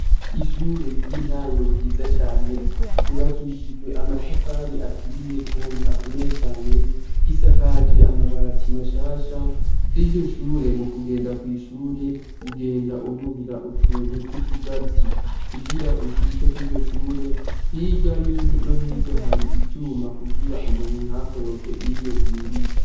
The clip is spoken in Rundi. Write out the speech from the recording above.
Ishure ry'intango ryiza cane ryubakishijwe amatafari aturiye, kandi akomeye cane risakaje amabatsi mashasha kwiryo shure mu kugenda kw'ishure ugenda ururira utuntu tw'utugazi kugira ushike kwiryoshure hirya ino hirya hari ivyuma ma kugira umuntu ntakoroke iyo yuriye.